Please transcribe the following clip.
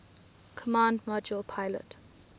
command module pilot